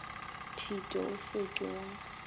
thito o se ke wa